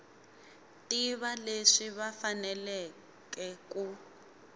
tiva leswi va faneleke ku